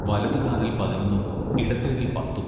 വലതു കാതിൽ പതിനൊന്നും ഇടത്തേതിൽ പത്തും.